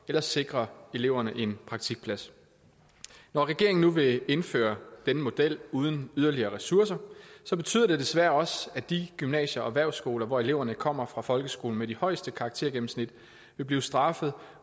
at sikre eleverne en praktikplads når regeringen nu vil indføre denne model uden at yderligere ressourcer betyder det desværre også at de gymnasier og erhvervsskoler hvor eleverne kommer fra folkeskolen med de højeste karaktergennemsnit vil blive straffet